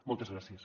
moltes gràcies